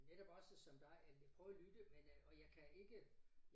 Netop også som dig at prøve at lytte men øh og jeg kan ikke